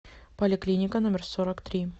поликлиника номер сорок три